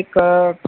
એક